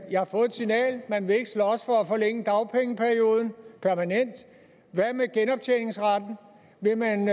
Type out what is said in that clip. signal man vil ikke slås for at forlænge dagpengeperioden permanent hvad med genoptjeningsretten vil man